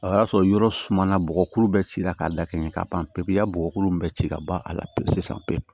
O y'a sɔrɔ yɔrɔ suma na bɔgɔkuru bɛɛ cira k'a dakɛɲɛ ka ban pewu ka bɔgɔkuru in bɛɛ ci ka ban a la pewu sisan pewu